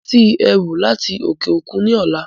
Mo ń retí ẹrú láti òkè òkun ni ọ̀la